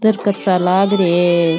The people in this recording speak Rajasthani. तर्कात सा लाग रे है।